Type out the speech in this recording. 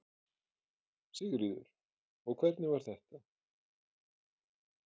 Sigríður: Og hvernig var þetta?